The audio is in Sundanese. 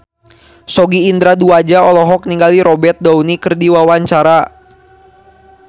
Sogi Indra Duaja olohok ningali Robert Downey keur diwawancara